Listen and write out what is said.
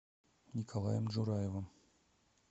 николаем джураевым